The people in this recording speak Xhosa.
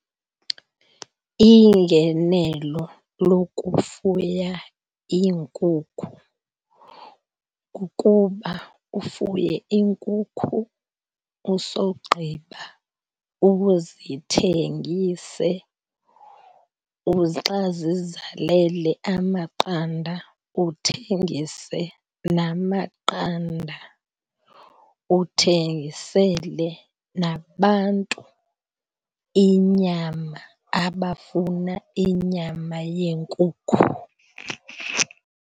Ingenelo lokufuya iinkukhu kukuba ufuye iinkukhu, usogqiba uzithengise xa zizalele amaqanda uthengise namaqanda. Uthengisele nabantu inyama, abafuna inyama yeenkukhu.